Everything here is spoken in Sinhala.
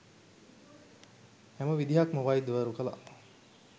හැම විදිහක්ම වෛද්‍යවරු කළා.